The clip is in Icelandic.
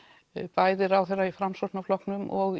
bæði ráðherra í Framsóknarflokknum og